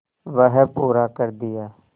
वह पूरा कर दिया